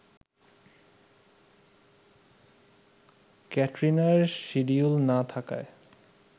ক্যাটরিনার schedule না থাকায়